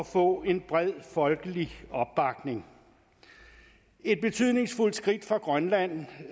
få en bred folkelig opbakning et betydningsfuldt skridt for grønland